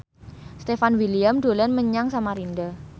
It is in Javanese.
Stefan William dolan menyang Samarinda